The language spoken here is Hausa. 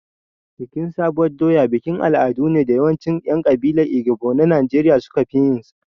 Bikin sabuwar doya bikin al'adu ne da yawancin 'yan kabilar Igbo na Najeriya suka fi yinsa.